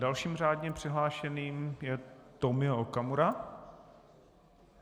Dalším řádně přihlášeným je Tomio Okamura.